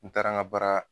N taara n ka baara